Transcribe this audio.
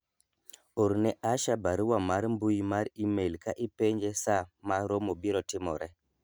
orne Asha barua mar mbui mar email ka ipenje saa ma romo biro timore